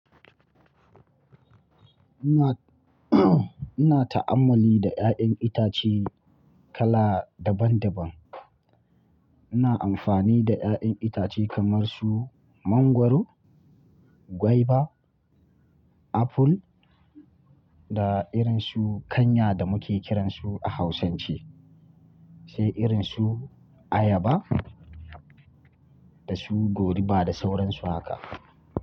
Ina ta'ammali da ya'yan itace kala daban daban. Ina amfani da ya'yan itace kamar su mangwaro, gwaiba, apple da irin su kanya da muke kiransu a Hausance, sai irin su ayaba da su goruba da sauransu haka.